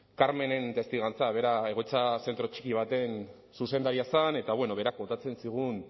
carmenen testigantza bera egoitza zentro txiki baten zuzendaria zen eta berak kontatzen zigun